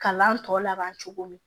Kalan tɔ laban cogo min